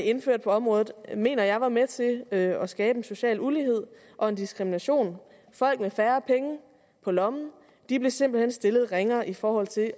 indførte på området mener jeg var med til at at skabe en social ulighed og en diskrimination folk med færre penge på lommen blev simpelt hen stillet ringere i forhold til at